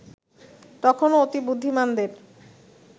তখনো অতিবুদ্ধিমানদের